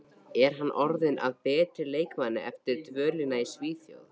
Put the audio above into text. Er hann orðinn að betri leikmanni eftir dvölina í Svíþjóð?